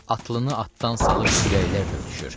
Atlıını atdan salıb küləklərlə öpüşür.